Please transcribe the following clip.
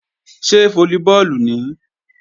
Ṣé fólíbọọ̀lù nìí?